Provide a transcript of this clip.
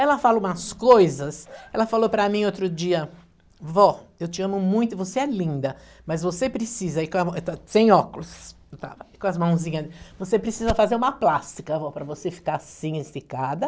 Ela fala umas coisas, ela falou para mim outro dia, vó, eu te amo muito, você é linda, mas você precisa, sem óculos, com as mãozinhas, você precisa fazer uma plástica, vó, para você ficar assim, esticada.